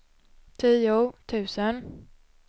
tio tusen